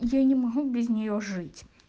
я не могу без нее жить